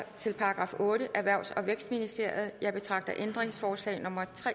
til § ottende erhvervs og vækstministeriet jeg betragter ændringsforslag nummer tre